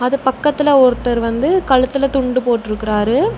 அது பக்கத்துல ஒருத்தர் வந்து கழுத்துல துண்டு போட்ருக்கறாரு.